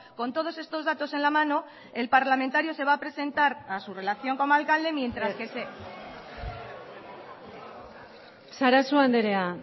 con todos estos datos en la mano el parlamentario se va a presentar a su relación como alcalde mientras que se sarasua andrea